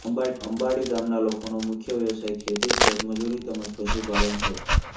અંબાડી ગામના લોકોના મુખ્ય વ્યવસાય ખેતી ખેતમજૂરી તેમ જ પશુપાલન છે